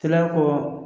Kɛra ko